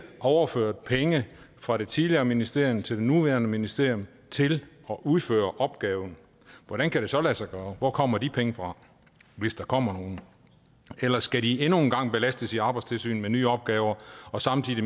overført penge fra det tidligere ministerium til det nuværende ministerium til at udføre opgaven og hvordan kan det så lade sig gøre og hvor kommer de penge fra hvis der kommer nogen skal de endnu en gang belastes i arbejdstilsynet med nye opgaver og samtidig